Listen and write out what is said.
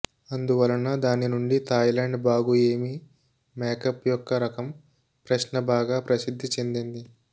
అందువలన దాని నుండి థాయిలాండ్ బాగు ఏమి మ్యాకప్ యొక్క రకం ప్రశ్న బాగా ప్రసిద్ధి చెందింది